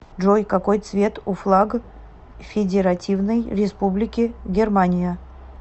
джой какой цвет у флаг федеративной республики германия